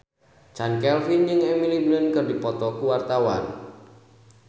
Chand Kelvin jeung Emily Blunt keur dipoto ku wartawan